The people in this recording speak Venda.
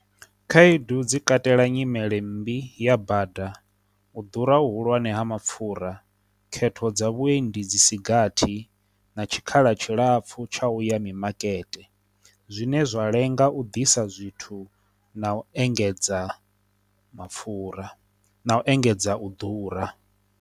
Khaedu dzi katela nyimele mmbi ya bada, u ḓura hu hulwane ha mapfura, khetho dza vhuendi dzi sigathi, na tshikhala tshilapfu tsha u ya mimakete, zwine zwa lenga u ḓisa zwithu na u engedza mapfura na u engedza u ḓura.